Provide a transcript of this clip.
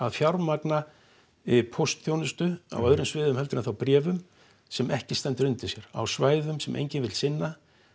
fjármagna póstþjónustu á öðrum sviðum en þá bréfum sem ekki stendur undir sér á svæðum sem enginn vill sinna